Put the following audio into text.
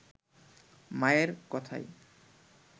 মায়ের কথায়